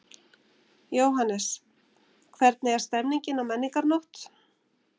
Jóhannes: Hvernig er stemmningin á Menningarnótt?